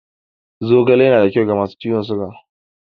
Zogale yana da kyau ga masu ciwon siga.